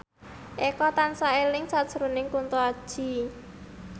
Eko tansah eling sakjroning Kunto Aji